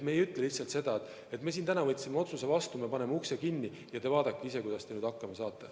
Me ei ütle lihtsalt sedasi, et me täna siin võtsime otsuse vastu ja paneme teie uksed kinni, vaadake ise, kuidas hakkama saate.